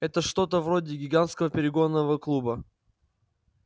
это что-то вроде гигантского перегонного клуба